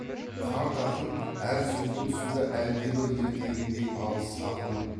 қарт ақын әр сөзінің тұсында әлдебір ертегіндей алыс ақын